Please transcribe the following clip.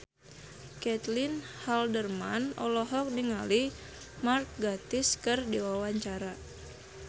Caitlin Halderman olohok ningali Mark Gatiss keur diwawancara